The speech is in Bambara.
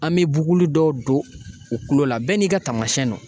An bɛ buguli dɔw don u kulo la bɛɛ n'i ka taamasiyɛn don